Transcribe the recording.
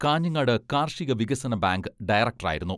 കാഞ്ഞങ്ങാട് കാർഷിക വികസന bank director ആയിരുന്നു.